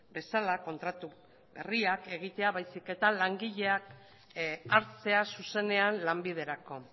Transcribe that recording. bezala kontratu herriak egitea baizik eta langileak hartzea zuzenean lanbiderako